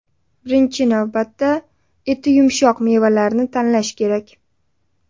Birinchi navbatda, eti yumshoq mevalarni tanlash kerak.